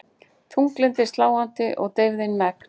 Þunglyndið sláandi og deyfðin megn.